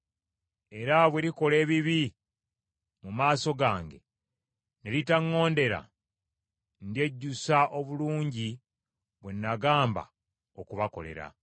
era bwe likola ebibi mu maaso gange, ne litaŋŋondera, ndyejjusa obulungi bwe nagamba okubakolera.